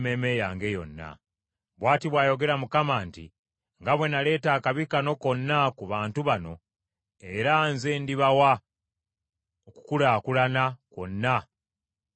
“Bw’ati bw’ayogera Mukama nti, Nga bwe naleeta akabi kano konna ku bantu bano, era nze ndibawa okukulaakulana kwonna kwe mbasuubizza.